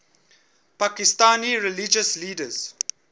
pakistani religious leaders